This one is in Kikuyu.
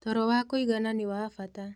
Toro wa kũigana nĩwa bata